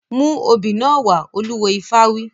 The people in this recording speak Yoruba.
Mú obì náà wá! Olúwo ifá wí.